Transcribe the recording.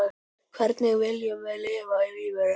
Hvernig viljum við lifa lífinu?